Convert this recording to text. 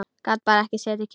Gat bara ekki setið kyrr.